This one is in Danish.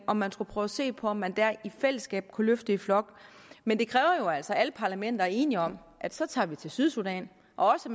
om man skulle prøve at se på om man der i fællesskab kunne løfte i flok men det kræver jo altså at alle parlamenter er enige om at så tager vi til sydsudan og